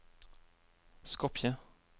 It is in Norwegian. Skopje